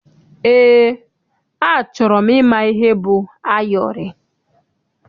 Eé, achọrọ m ịma ihe bụ ayọrị.